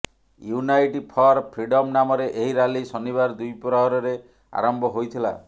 unite for freedom ନାମରେ ଏହି rally ଶନିବାର ଦ୍ୱିପ୍ରହରରେ ଆରମ୍ଭ ହୋଇଥିଲା